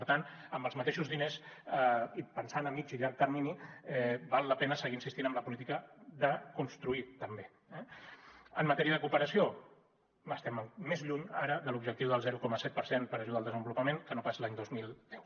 per tant amb els mateixos diners i pensant a mitjà i llarg termini val la pena seguir insistint en la política de construir també eh en matèria de cooperació estem més lluny ara de l’objectiu del zero coma set per cent per a ajuda al desenvolupament que no pas l’any dos mil deu